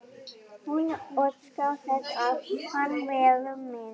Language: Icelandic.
Hún óskar þess að hann verði minn.